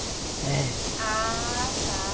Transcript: É. Ah, tá.